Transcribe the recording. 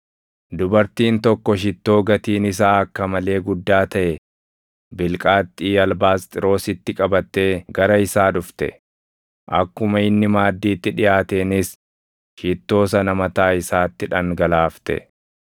dubartiin tokko shittoo gatiin isaa akka malee guddaa taʼe bilqaaxxii albaasxiroositti qabattee gara isaa dhufte; akkuma inni maaddiitti dhiʼaateenis shittoo sana mataa isaatti dhangalaafte.